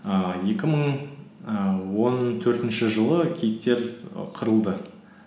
ііі екі мың і он төртінші жылы киіктер і қырылды